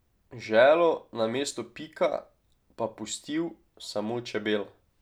Želo na mestu pika pa pustil samo čebela.